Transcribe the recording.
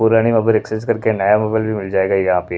पुराने mobile exchange करके नया मोबाइल भी मिल जाएगा यहाँ पे--